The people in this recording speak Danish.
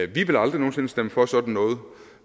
vi vil aldrig nogen sinde stemme for sådan noget